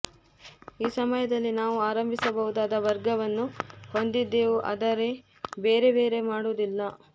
ಈ ಸಮಯದಲ್ಲಿ ನಾವು ಆರಂಭಿಸಬಹುದಾದ ವರ್ಗವನ್ನು ಹೊಂದಿದ್ದೆವು ಆದರೆ ಬೇರೆ ಬೇರೆ ಮಾಡುವುದಿಲ್ಲ